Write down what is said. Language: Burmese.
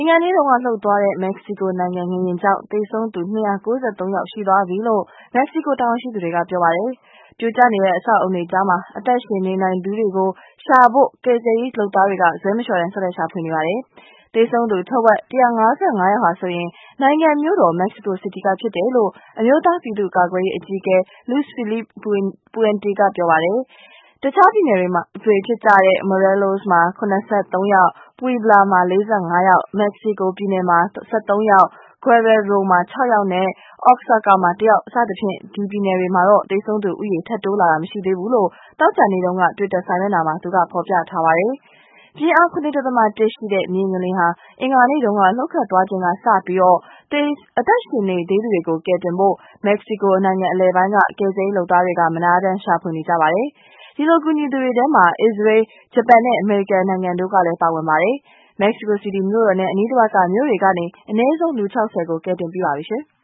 င်္ဂါနေ့က လှုပ်သွားတဲ့ မက္ကဆီကိုနိုင်ငံ ငလျင်ကြောင့် သေဆုံးသူ ၂၉၃ ယောက်ရှိသွားပြီလို့ မက္ကဆီကို တာဝန်ရှိသူတွေက ပြောပါတယ်။ ပြိုကျနေတဲ့ အဆောက်အအုံတွေကြား အသက်ရှင်နေနိုင်သေးသူတွေကို ရှာဖို့ ကယ်ဆယ်ရေးလုပ်သားတွေက ဇွဲမလျှော့တမ်း ဆက်လက်ရှာဖွေနေပါတယ်။ သေဆုံးသူ ထက်ဝက် ၁၅၅ ယောက်ဟာ နိုင်ငံမြို့တော် Mexico City က ဖြစ်တယ်လို့ အမျိုးသားပြည်သူ့ကာကွယ်ရေးအကြီးအကဲ Luis Felipe Puente က ပြောပါတယ်။ တခြားပြည်နယ်တွေ ဖြစ်ကြတဲ့ Morelos မှာ ၇၃ ယောက်၊ Puebla မှာ ၄၅ ယောက်၊ Mexico ပြည်နယ်မှာ ၁၃ ယောက်၊ Guerrero မှာ ၆ ယောက်၊ နဲ့ Oaxaca မှာ ၁ ယောက် စသည်ဖြင့် ဒီပြည်နယ်တွေမှာတော့ သေဆုံးသူဦးရေ ထပ်တိုးမလာကြောင်း သောကြာနေ့တုန်းက twitter စာမျက်နှာက ကနေ ဖော်ပြထားပါတယ်။ ပြင်းအား ၇.၁ ရှိတဲ့ မြေငလျင် အင်္ဂါနေ့တုန်းက လှုပ်ခတ်သွားချိန်က စပြီး အသက်ရှင်နေသေးသူတွေကို ကယ်တင်ဖို့ Mexico နိုင်ငံအလယ်ပိုင်းက ကယ်ဆယ်ရေးလုပ်သားတွေက မနားတမ်း ရှာဖွေနေကြပါတယ်။ အဲဒီလို ကူညီသူတွေထဲမှာ အစ္စရေး၊ ဂျပန်နဲ့ အမေရိကန် စတဲ့နိုင်ငံတွေလည်း ပါဝင်ပါတယ်။ Mexico City မြို့တော်နဲ့ အနီးတစ်ဝိုက်က မြို့တွေ က နေ အနည်းဆုံး လူ ၆၀ ဦးကို ကယ်တင်ပြီးပါပြီရှင်။